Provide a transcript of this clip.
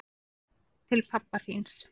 Til pabba þíns.